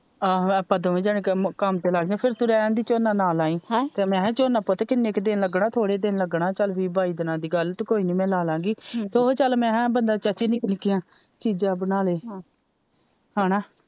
ਆਹੋ ਆਪਾ ਦੋਵੇ ਜਾਣੇ ਕੰਮ ਤੇ ਲੱਗ ਗੇ ਫਿਰ ਤੂੰ ਰਹਿਣ ਦੀ ਝੋਨਾ ਨਾ ਲਾਈ ਮੈ ਕਿਹਾ ਝੋਨਾ ਪੁੱਤ ਕਿਨ੍ਹੇ ਕਾ ਦਿਨ ਲੱਗਣਾ ਥੋੜੇ ਦਿਨ ਲੱਗਣਾ ਚਲ ਵੀਹ ਬਾਈ ਦਿਨਾਂ ਦੀ ਗੱਲ ਤੂੰ ਕੋਈ ਨਹੀਂ ਮੈ ਲਾਲਾਗੀ ਤੇ ਓਹੀ ਚਲ ਮੈ ਕਿਹਾ ਬੰਦਾ ਚਾਚੀ ਨਿੱਕੀਆਂ ਨਿੱਕੀਆਂ ਚੀਜ਼ਾਂ ਬਣਾਲੇ ਹੇਨਾ।